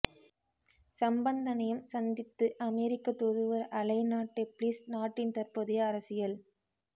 சம்பந்தனையும் சந்தித்து அமெரிக்கத் தூதுவர் அலைனா டெப்ளிஸ் நாட்டின் தற்போதைய அரசியல்